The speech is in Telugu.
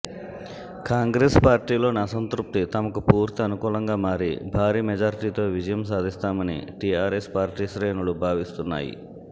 కాంగ్రెస్ పార్టీలోని అసంతృప్తి తమకు పూర్తి అనుకూలంగా మారి భారీ మెజార్టీతో విజయం సాధిస్తామని టిఆర్ఎస్ పార్టీ శ్రేణులు భావిస్తున్నాయి